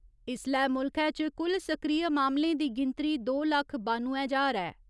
इसलै मुल्खै च कुल सक्रिय मामलें दी गिनतरी दो लक्ख बानुए ज्हार ऐ।